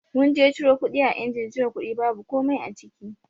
Mun je ciro kuɗi a injin cire kuɗi babu komai a ciki.